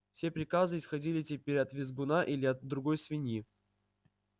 все приказы исходили теперь от визгуна или от другой свиньи